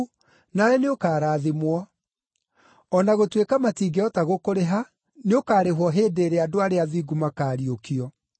nawe nĩũkarathimwo. O na gũtuĩka matingĩhota gũkũrĩha, nĩũkarĩhwo hĩndĩ ĩrĩa andũ arĩa athingu makaariũkio.”